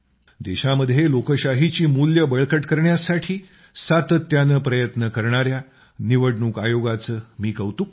देशामध्ये लोकशाहीची मूल्यं बळकट करण्यासाठी सातत्यानं प्रयत्न करणाया निवडणूक आयोगाचं मी कौतुक करतो